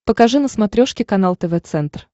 покажи на смотрешке канал тв центр